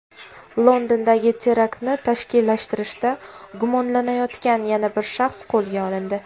Londondagi teraktni tashkillashtirishda gumonlanayotgan yana bir shaxs qo‘lga olindi.